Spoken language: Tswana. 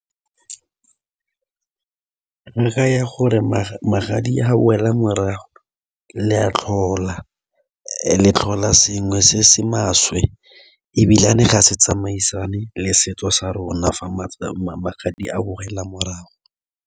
Le ge gore magadi ga a boela morago le a tlhola, le tlhola sengwe se se maswe ebilane ga se tsamaisane le setso sa rona fa magadi a boela morago.